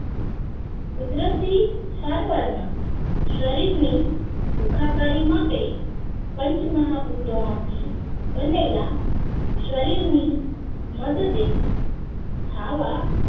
કુદરતી સારવાર ના શરીર ને સુખાકારી માટે પંચમહાભૂતો માંથી બનેલા શરીર ની મદદે થાવા